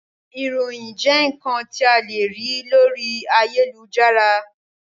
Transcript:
Ìròyìn jẹ́ ǹkan tí a le rí lórí ayélujára